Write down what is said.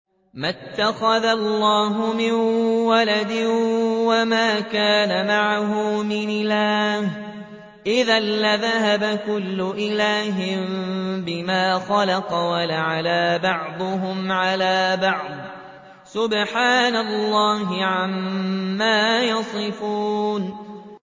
مَا اتَّخَذَ اللَّهُ مِن وَلَدٍ وَمَا كَانَ مَعَهُ مِنْ إِلَٰهٍ ۚ إِذًا لَّذَهَبَ كُلُّ إِلَٰهٍ بِمَا خَلَقَ وَلَعَلَا بَعْضُهُمْ عَلَىٰ بَعْضٍ ۚ سُبْحَانَ اللَّهِ عَمَّا يَصِفُونَ